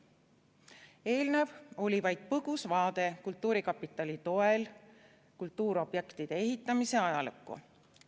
" Eelnev oli vaid põgus vaade kultuurkapitali toel kultuuriobjektide ehitamise ajalukku.